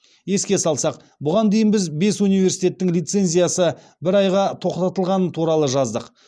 еске салсақ бұған дейін біз бес университеттің лицензиясы бір айға тоқтатылғаны туралы жаздық